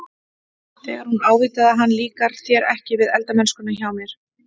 Þegar hún ávítaði hann- Líkar þér ekki við eldamennskuna hjá mér?